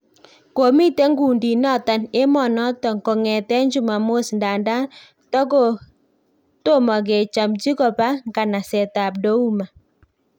Komiten kundiit noton emon noton kongeten chumamos ndanda tomokechamchi koba ngganaset ab Douma